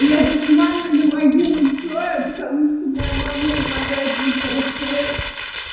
еду с мамой на могилу цоя потому что моя мама обожает виктора цоя